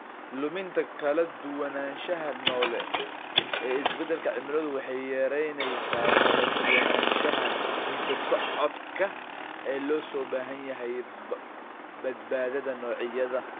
Luminta kala duwanaanshaha noole ee isbeddelka cimiladu waxay yaraynaysaa kala duwanaanshaha hidda-socodka ee loo baahan yahay badbaadada noocyada.